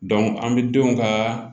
an bɛ denw ka